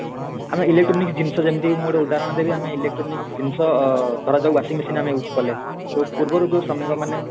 ଆମେ electronic ଜିନିଷ ଯେମିତିକି ମୁଁ ଗୋଟେ ଉଦାହରଣ ଦେବି ଆମେ electronic ଜିନିଷ ଅ ଅ ଧରା ଯାଉ ଆମେ washing machine ଆମେ use କଲେ ଯୋଉ ପୂର୍ବରୁ ଯୋଉ ଶ୍ରମିକ ମାନେ